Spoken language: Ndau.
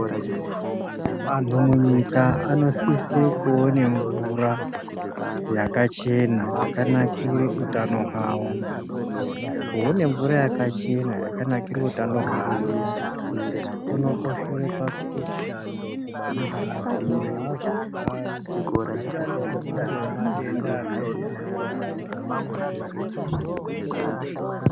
Antu munyika anosisa kuona mvura yakachena yakanakire utano hwavo. Kuona mvura yakachena yakanakira utano hweantu kunokoshera pakuti antu aazorwari nemhando yemadenda amweni anoparadzirwa nemvura yakasvipa.